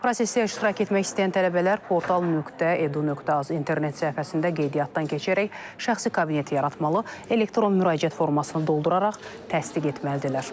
Prosesdə iştirak etmək istəyən tələbələr portal.edu.az internet səhifəsində qeydiyyatdan keçərək şəxsi kabinet yaratmalı, elektron müraciət formasını dolduraraq təsdiq etməlidirlər.